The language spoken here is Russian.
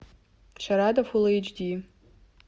шарада фул эйч ди